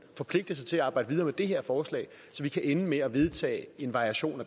forpligte sig til at arbejde videre med det her forslag så vi kan ende med at vedtage en variation